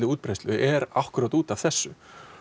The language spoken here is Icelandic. útbreiðslu er akkúrat út af þessu